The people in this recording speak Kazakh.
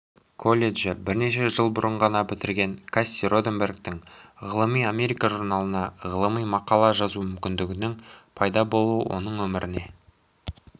коллежді бірнеше жыл бұрын ғана бітірген касси роденбергтің ғылыми америкажурналына ғылыми мақала жазу мүмкіндігінің пайда болуы оның өміріне